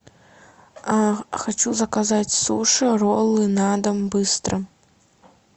хочу заказать суши роллы на дом быстро